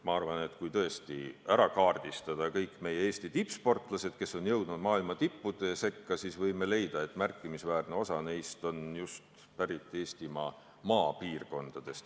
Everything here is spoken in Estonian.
Ma arvan, et kui tõesti ära kaardistada kõik Eesti tippsportlased, kes on jõudnud maailma tippude sekka, siis võime leida, et märkimisväärne osa neist on just pärit maapiirkondadest.